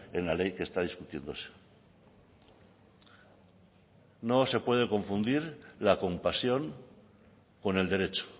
en la ley que está discutiéndose no se puede confundir la compasión con el derecho